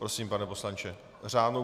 Prosím, pane poslanče.